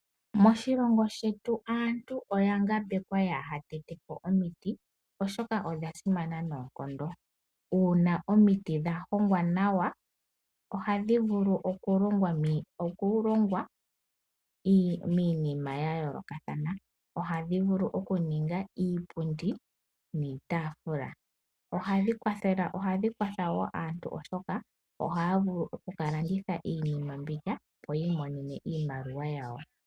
Moshilongo shetu aantu oya ngambekwa yaaha tete po omiti, oshoka odha simana noonkondo. Uuna omiti dha hongwa nawa, ohadhi vulu okulonga iinima ya yoolokathana. Ohadhi vulu okuninga iipundi niitafula. Ohadhi kwatha wo aantu oshoka ohaya vulu oku ka landitha iinima mbika opo yi imonene iimaliwa yawo.